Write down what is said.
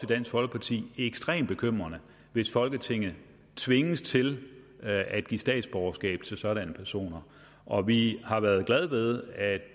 dansk folkeparti ekstremt bekymrende hvis folketinget tvinges til at give statsborgerskab til sådanne personer og vi har været glade ved at